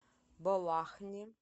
балахне